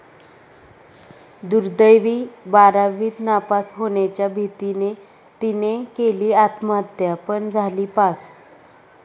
दुर्दैवी!, बारावीत नापास होण्याच्या भीतीने 'ती'ने केली आत्महत्या पण झाली पास